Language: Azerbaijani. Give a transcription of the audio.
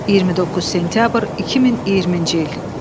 29 sentyabr 2020-ci il.